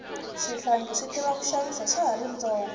swihlangi swi tiva ku xavisa swa hari swi tsonga